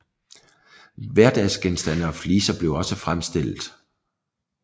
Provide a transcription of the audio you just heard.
Hverdagsgenstande og fliser blev også fremstillet